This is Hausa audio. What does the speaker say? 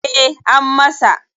E, an masa.